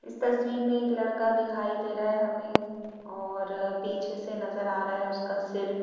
इस तस्वीर में एक लड़का दिखाई दे रहा है हमें और पीछे से नज़र आ रहा है उसका सिर --